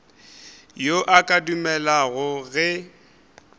yo a ka dumelago ge